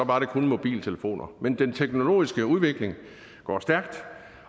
var det kun mobiltelefoner men den teknologiske udvikling går stærkt